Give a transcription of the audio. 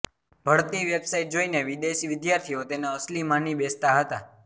ભળતી website જોઈને વિદેશી વિદ્યાર્થીઓ તેને અસલી માની બેસતાં હતાં